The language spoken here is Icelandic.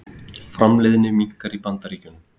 Framleiðni minnkar í Bandaríkjunum